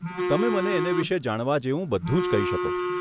તમે મને એને વિષે જાણવા જેવું બધું જ કહી શકો.